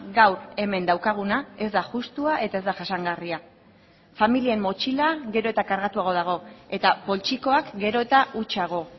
gaur hemen daukaguna ez da justua eta ez da jasangarria familien motxila gero eta kargatuago dago eta poltsikoak gero eta hutsago